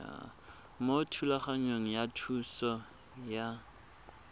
mo thulaganyong ya thuso y